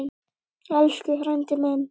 Elsku frændi minn.